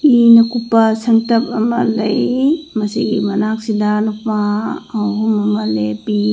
ꯏꯅ ꯀꯨꯞꯄꯥ ꯁꯪꯇꯞ ꯑꯃ ꯂꯩ ꯃꯁꯤꯒꯤ ꯃꯅꯥꯛꯁꯤꯗ ꯅꯨꯄꯥ ꯑꯍꯨꯝ ꯑꯃ ꯂꯦꯞꯄꯤ꯫